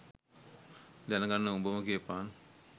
දැන ගන්න උඹම කියපන්.